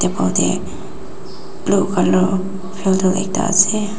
te blue colour filter ekta ase.